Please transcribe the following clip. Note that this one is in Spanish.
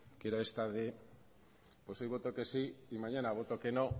que esta era de pues hoy voto que sí y mañana voto que no